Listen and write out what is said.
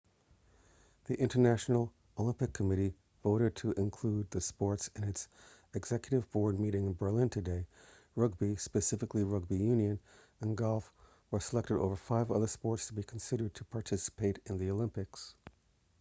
the international olympic committee voted to include the sports at its executive board meeting in berlin today rugby specifically rugby union and golf were selected over five other sports to be considered to participate in the olympics